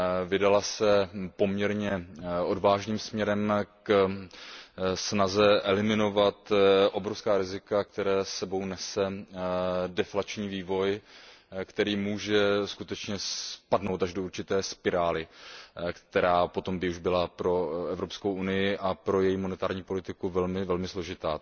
Vydala se poměrně odvážným směrem ve snaze eliminovat obrovská rizika, která s sebou nese deflační vývoj, který může skutečně spadnout až do určité spirály, která potom by už byla pro Evropskou unii a pro její měnovou politiku velmi, velmi složitá.